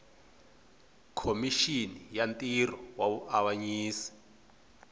khomixini ya ntirho wa vuavanyisi